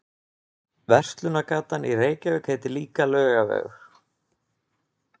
Verslunargatan í Reykjavík heitir líka Laugavegur.